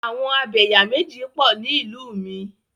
Àwọn Abẹ̀yàméjì pọ̀ ni ìlú mi.